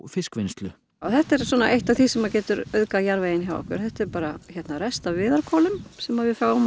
fiskvinnslu þetta er eitt af því sem getur auðgað jarðveginn hérna hjá okkur þetta er bara rest af viðarkolum sem við fáum